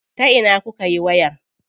Ta ina kukayi wayar?